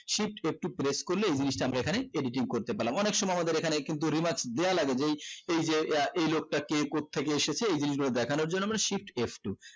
shift f two press করলে এই জিনিসটা আমরা এখানে editing করতে পারলাম অনিক সময় আমাদের এখানে কিন্তু remark এই যে আহ এই লোকটা কে কত থেকে এসেছে এই জিনিস গুলো দেখানোর জন্য মানে shift f two